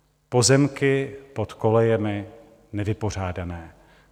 Pozemky pod kolejemi - nevypořádané.